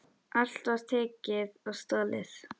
Allt var tekið og stolið.